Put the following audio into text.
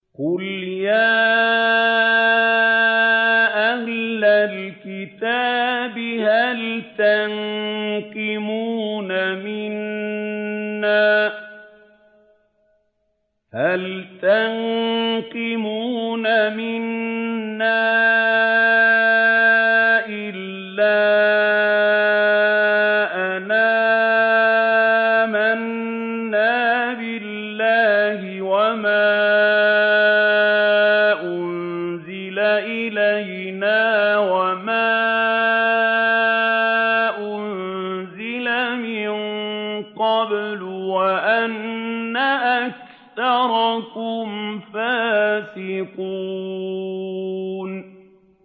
قُلْ يَا أَهْلَ الْكِتَابِ هَلْ تَنقِمُونَ مِنَّا إِلَّا أَنْ آمَنَّا بِاللَّهِ وَمَا أُنزِلَ إِلَيْنَا وَمَا أُنزِلَ مِن قَبْلُ وَأَنَّ أَكْثَرَكُمْ فَاسِقُونَ